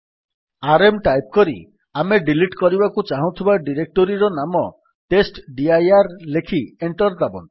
RM type କରି ଆମେ delete କରିବାକୁ ଚାହୁଁଥିବା ଡିରେକ୍ଟୋରୀର ନାମ ଟେଷ୍ଟଡିର ଲେଖି ଏଣ୍ଟର୍ ଦାବନ୍ତୁ